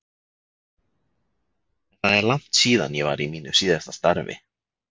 En það er langt síðan ég var í mínu síðasta starfi.